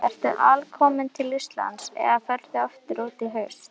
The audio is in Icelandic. Ertu alkominn til Íslands eða ferðu út aftur í haust?